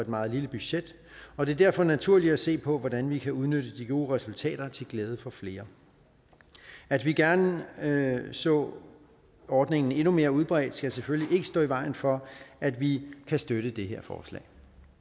meget lille budget og det er derfor naturligt at se på hvordan vi kan udnytte de gode resultater til glæde for flere at vi gerne så ordningen endnu mere udbredt skal selvfølgelig ikke stå i vejen for at vi kan støtte det her forslag